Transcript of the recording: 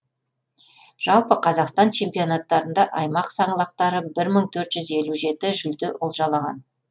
жалпы қазақстан чемпионаттарында аймақ саңлақтары бір мың төрт жүз елу жеті жүлде олжалаған